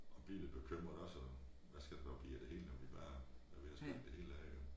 At blive lidt bekymrede også og hvad skal der dog blive af det hele når vi bare når vi har splittet det hele ad jo